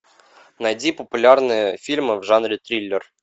найди популярные фильмы в жанре триллер